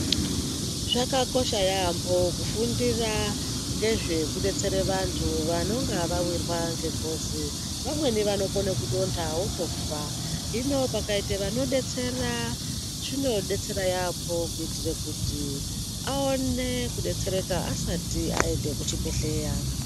Zvakakosha yaambho kufundira ngezvekudetsere vanthu vanonga vawirwa ngengozi vamweni vanokone kudonta votofa hino pakaita vanodetsera zvinodetsera yaambho kuitire kuti aone kudetsereka asati aende kuchibhedhleya.